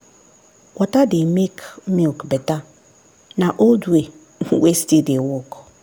water dey make milk better na old way wey still dey work.